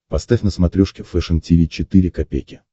поставь на смотрешке фэшн ти ви четыре ка